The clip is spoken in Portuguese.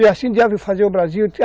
E assim deve fazer o Brasil.